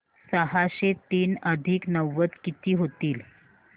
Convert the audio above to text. सहाशे तीन अधिक नव्वद किती होतील